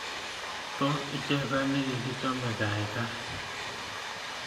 Tos ichesan chegigichame gaigai